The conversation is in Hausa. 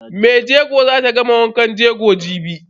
Maijego zata gama wankan jego jibi.